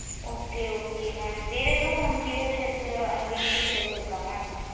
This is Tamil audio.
okay okay mam வேற ஏதும் features and benefits ஏதும் இருக்க mam